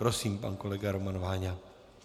Prosím, pan kolega Roman Váňa.